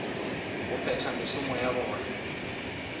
go phetha mešomo ya bona